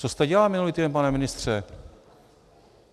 Co jste dělal minulý týden, pane ministře?